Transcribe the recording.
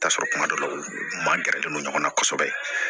I bi t'a sɔrɔ kuma dɔ la u ma gɛrɛlen don ɲɔgɔn na kosɛbɛ